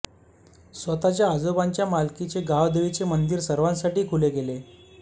स्वतःच्या आजोबांच्या मालकीचे गावदेवीचे मंदिर सर्वांसाठी खुले केले